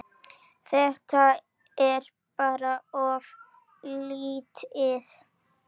Þetta er bara of lítið.